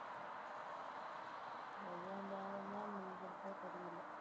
எவ்வளோ நேரந்தான் முடிஞ்சுருக்கோ தெரியல